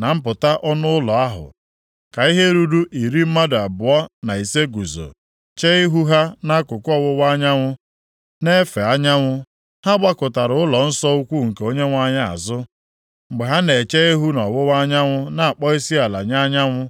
na mpụta ọnụ ụlọ ahụ, ka ihe ruru iri mmadụ abụọ na ise guzo, chee ihu ha nʼakụkụ ọwụwa anyanwụ na-efe anyanwụ. Ha gbakụtara ụlọnsọ ukwu nke Onyenwe anyị azụ mgbe ha na-eche ihu nʼọwụwa anyanwụ na-akpọ isiala nye anyanwụ.